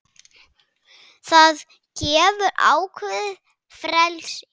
Það gefur ákveðið frelsi.